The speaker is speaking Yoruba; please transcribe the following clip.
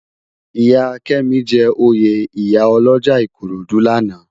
Iyá Kemi jè óyé iyá òlòjá Ikorodu làná